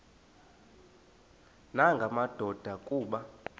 nanga madoda kuba